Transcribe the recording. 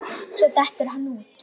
Svo dettur hann út.